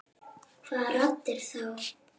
Hvaða raddir þá?